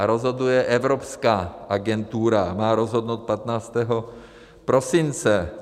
A rozhoduje evropská agentura, má rozhodnout 15. prosince.